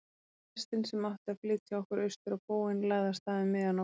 Lestin sem átti að flytja okkur austur á bóginn lagði af stað um miðja nótt.